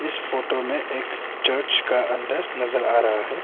इस फोटो में एक चर्च का अंदर नजर आ रहा है।